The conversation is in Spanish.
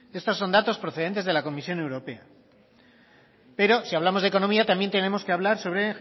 estos son datos procedentes de la comisión europea pero si hablamos de economía también tenemos que hablar sobre